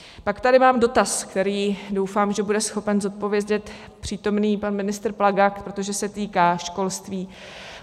Pak tady mám dotaz, který doufám, že bude schopen zodpovědět přítomný pan ministr Plaga, protože se týká školství.